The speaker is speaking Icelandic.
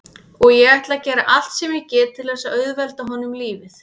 Og ég ætla að gera allt sem ég get til þess að auðvelda honum lífið.